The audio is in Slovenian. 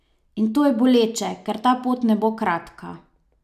In to je boleče, ker ta pot ne bo kratka.